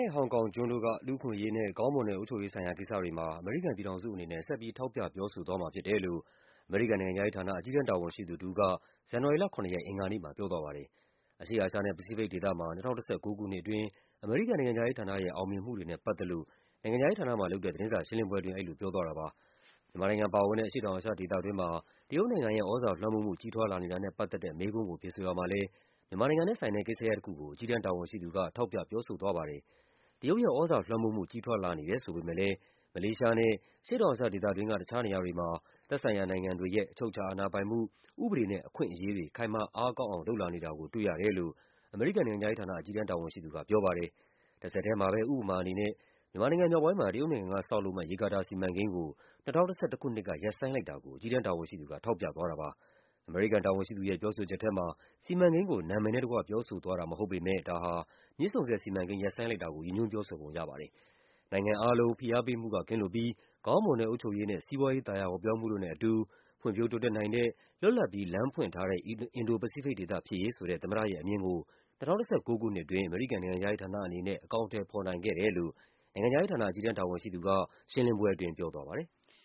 ဲ့ ဟောင်ကောင်ကျွန်းတို့က လူ့အခွင့်အရေးနဲ့ ကောင်းမွန်တဲ့ အုပ်ချုပ်ရေးဆိုင်ရာ ကိစ္စတွေမှာ အမေရိကန် ပြည်ထောင်စုအနေနဲ့ ဆက်ပြီး ထောက်ပြ ပြောဆိုသွားမှာဖြစ်တယ်လို့ အမေရိကန်နိုင်ငံခြားရေးဌာန၊ အကြီးတန်း တာဝန်ရှိသူ တဦးက ဇန်နဝါရီ လ ၇ ရက်၊ အင်္ဂါနေ့မှာ ပြောသွားပါတယ်။ အရှေ့အာရှနဲ့ ပစိဖိတ်ဒေသမှာ ၂၀၁၉ ခုနှစ်အတွင်း အမေရိကန်နိုင်ငံခြားရေးဌာနရဲ့ အောင်မြင်မှုတွေနဲ့ပတ်သက်လို့ နိုင်ငံခြားရေး ဌာနမှာလုပ်တဲ့ သတင်းစာရှင်းလင်းပွဲအတွင်း အဲဒီလိုပြောသွားတာပါ။ မြန်မာနိုင်ငံပါဝင်တဲ့ အရှေ့တောင်အာရှဒေသတွင်းမှာ တရုတ်နိုင်ငံရဲ့ သြဇာလွှမ်းမိုးမှု ကြီးထွားလာနေတာနဲ့ပတ်သက်တဲ့ မေးခွန်း ကို ဖြေဆိုရာမှာလည်း မြန်မာနိုင်ငံနဲ့ဆိုင်တဲ့ ကိစ္စရပ်တခုကို အကြီးတန်းတာဝန်ရှိသူက ထောက်ပြပြောဆိုသွားပါတယ်။ တရုတ်ရဲ့သြဇာလွှမ်းမိုးမှု ကြီးထွားလာနေတယ် ဆိုပေမယ့်လည်း မလေးရှားနဲ့ အရှေ့တောင်အာရှဒေသတွင်းက တခြားနေရာ တွေမှာ သက်ဆိုင်ရာနိုင်ငံတွေရဲ့ အချုပ်အခြာအာဏာပိုင်မှု၊ ဥပဒေနဲ့ အခွင့်အရေးတွေ ခိုင်မာအားကောင်းအောင် လုပ်လာနေတာ ကို တွေ့ရတယ်လို့ အမေရိကန်နိုင်ငံခြားရေးဌာန အကြီးတန်းတာဝန်ရှိသူက ပြောပါတယ်။ တဆက်ထဲမှာပဲ ဥပမာအနေနဲ့ မြန်မာနိုင်ငံမြောက်ပိုင်းမှာ တရုတ်နိုင်ငံက ဆောက်လုပ်မယ့် ရေကာတာစီမံကိန်းကို ၂၀၁၁ ခုနှစ် က ရပ်ဆိုင်းလိုက်တာကို အကြီးတန်းတာဝန်ရှိသူက ထောက်ပြသွားတာပါ။ အမေရိကန်တာဝန်ရှိသူရဲ့ ပြောဆိုချက်ထဲမှာ စီမံကိန်းကို နာမည်နဲ့တကွ ပြောဆိုသွားတာမဟုတ်ပေမယ့် ဒါဟာ မြစ်ဆုံဆည်စီမံ ကိန်း ရပ်ဆိုင်းလိုက်တာကို ရည်ညွှန်းပြောဆိုပုံရပါတယ်။ နိုင်ငံအားလုံး ဖိအားပေးမှုက ကင်းလွတ်ပြီး ကောင်းမွန်တဲ့အုပ်ချုပ်ရေးနဲ့ စီးပွားရေး သာယာဝပြောမှုတို့နဲ့အတူ ဖွံ့ဖြိုး တိုးတက်နိုင် တဲ့၊ လွတ်လပ်ပြီး လမ်းဖွင့်ထားတဲ့ အင်ဒို-ပစိဖိတ်ဒေသဖြစ်ရေးဆိုတဲ့ သမ္မတရဲ့အမြင်ကို ၂၀၁၉ ခုနှစ်အတွင်း အမေရိကန်နိုင်ငံ ခြားရေးဌာနအနေနဲ့ အကောင်အထည်ဖော်နိုင်ခဲ့တယ်လို့ နိုင်ငံခြားရေးဌာန အကြီးတန်းတာဝန်ရှိသူက ရှင်းလင်းပွဲအတွင်း ပြောသွားပါတယ်။